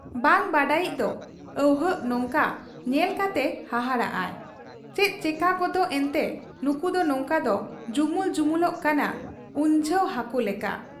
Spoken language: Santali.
ᱵᱟᱝ ᱵᱟᱰᱟᱭᱤᱡ ᱫᱚ ᱟᱹᱣᱦᱟᱹᱠ ᱱᱚᱝᱠᱟ ᱧᱮᱞ ᱠᱟᱛᱮ ᱦᱟᱦᱟᱲᱟᱜ ᱟᱭ ᱾ ᱪᱮᱫ ᱪᱮᱠᱟᱹᱜᱚᱫ ᱮᱱᱛᱮ ᱱᱩᱠᱩᱫᱚ ᱱᱚᱝᱠᱟ ᱠᱚ ᱡᱩᱢᱩᱞ ᱡᱩᱢᱩᱞᱚᱜ ᱠᱟᱱᱟ ᱩᱱᱡᱷᱟᱹᱣ ᱦᱟᱹᱠᱩ ᱞᱮᱠᱟ ?